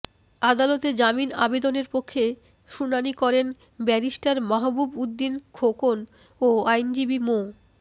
আদালতে জামিন আবেদনের পক্ষে শুনানি করেন ব্যারিস্টার মাহবুব উদ্দিন খোকন ও আইনজীবী মো